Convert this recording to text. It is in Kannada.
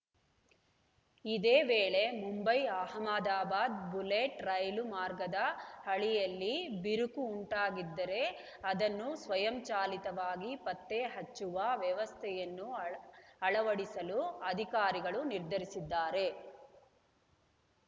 ಇದೇ ವೇಳೆ ಮುಂಬೈ ಅಹಮದಾಬಾದ್‌ ಬುಲೆಟ್‌ ರೈಲು ಮಾರ್ಗದ ಹಳಿಯಲ್ಲಿ ಬಿರುಕು ಉಂಟಾಗಿದ್ದರೆ ಅದನ್ನು ಸ್ವಯಂಚಾಲಿತವಾಗಿ ಪತ್ತೆಹಚ್ಚುವ ವ್ಯವಸ್ಥೆಯನ್ನು ಅಳ ಅಳವಡಿಸಲು ಅಧಿಕಾರಿಗಳು ನಿರ್ಧರಿಸಿದ್ದಾರೆ